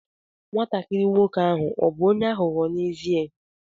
Nwatakịrị nwoke ahụ ọ̀ bụ onye aghụghọ n'ezie?